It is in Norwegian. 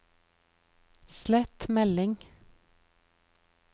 slett melding